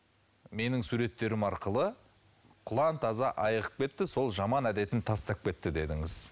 менің суреттерім арқылы құлан таза айығып кетті сол жаман әдетін тастап кетті дедіңіз